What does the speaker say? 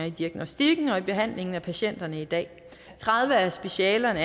i diagnostikken og i behandlingen af patienterne i dag i tredive af specialerne